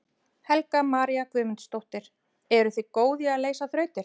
Helga María Guðmundsdóttir: Eruð þið góð í að leysa þrautir?